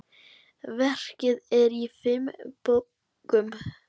Verkið er í fimm bókum.